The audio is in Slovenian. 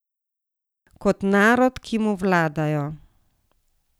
Kot narod, ki mu vladajo.